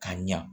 Ka ɲa